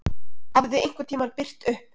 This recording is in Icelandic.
Hafði einhvern tíma birt upp?